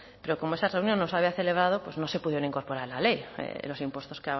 pero como esa reunión no se había celebrado pues no se pudieron incorporar en la ley los impuestos